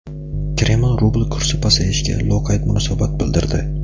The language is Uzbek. Kreml rubl kursi pasayishiga loqayd munosabat bildirdi.